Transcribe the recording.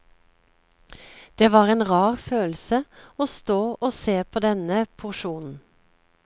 Det var en rar følelse og stå og se på denne porsjonen.